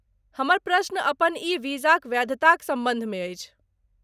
हमर प्रश्न अपन ई वीजाक वैधताक सम्बन्धमे अछि।